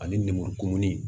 Ani lemurukumuni